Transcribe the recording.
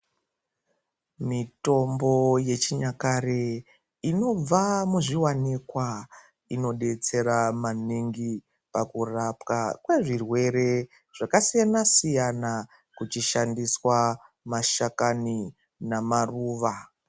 Mitombo yechinyakare inobva muzviwanikwa inodetsera maningi pakurapwa kwezvirwe zvakasiyanasiyana kuchishandiswa mashakani namaruva.